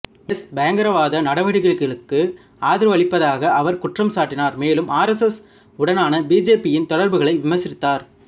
S பயங்கரவாத நடவடிக்கைகளுக்கு ஆதரவளிப்பதாக அவர் குற்றம் சாட்டினார் மேலும் ஆர் எஸ் எஸ் உடனான பிஜேபியின் தொடர்புகளை விமர்சித்தார்